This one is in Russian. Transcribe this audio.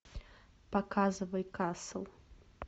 показывай касл